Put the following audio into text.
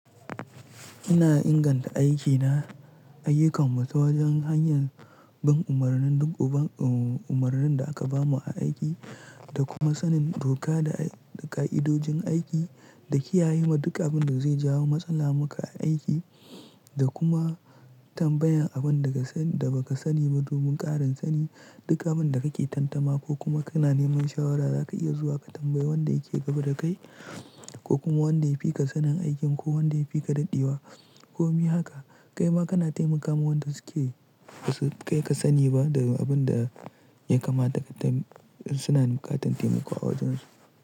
Ina inganta aikina, ayyukan mu ta wajen hanyar bin umarnin duk umarnin da aka bamu a aiki da kuma sanin doka da ka'idojin aiki da kiyaye ma duk abin da zai jawo matsala maka a aiki da kuma tambayan abin da ba ka sani ba domin ƙarin sani. Duk a abun da kake tantama ko kuma kana neman shawara za ka iya zuwa ka tambayi wanda yake gaba da kai ko kuma wanda ya fi ka sanin aikin ko wanda ya fi ka daɗewa. Ko mi haka, kai ma kana taimakawa wanda suke basu kai ka sani ba da abin da ya kamata suna bukatan taimako a wajen su.